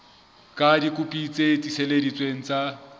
ka dikopi tse tiiseleditsweng tsa